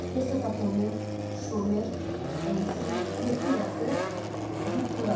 Mesopotomiya, Şumer, Ensi, Mixi yazı, Zikkurat.